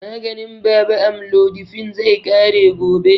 Maganin baba amlodipine, zai ƙare gobe.